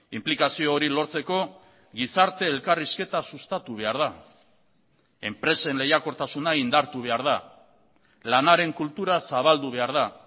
inplikazio hori lortzeko gizarte elkarrizketa sustatu behar da enpresen lehiakortasuna indartu behar da lanaren kultura zabaldu behar da